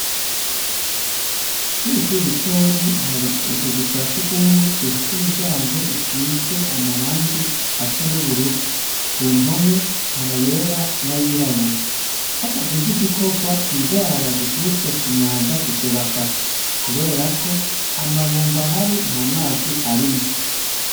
kw'ishure ritoya hari utuzu twa surwumwe dufise imiryango isize amarangi asa n'ubururu. Ku mpome, hari ayera n'ay'irabura. Hatagize igikorwa, indwara ziturutse ku mwanda zizobafata, kubera ko amabomba ahari nt'amazi arimwo.